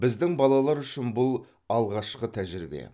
біздің балалар үшін бұл алғашқы тәжірибе